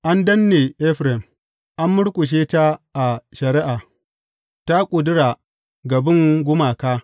An danne Efraim, an murƙushe ta a shari’a ta ƙudura ga bin gumaka.